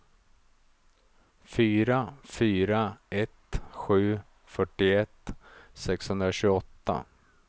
fyra fyra ett sju fyrtioett sexhundratjugoåtta